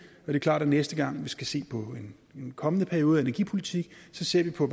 er klart at næste gang vi skal se på en kommende periode af energipolitik ser vi på